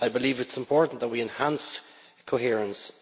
I believe it is important that we enhance coherence